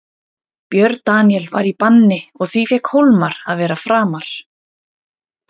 Björn Daníel var í banni og því fékk Hólmar að vera framar.